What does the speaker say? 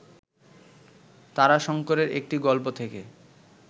তারাশঙ্করের একটি গল্প থেকে